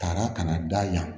Taara ka na da yan